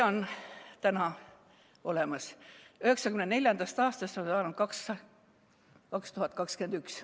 Katja on täna olemas, 1994. aastast on saanud 2021.